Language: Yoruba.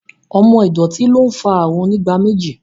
Omo ìdọ̀tí ló ń fa àrùn onígbáméjì